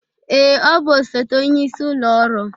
Ee, ọ bụ osote onyeisi ụlọ ọrụ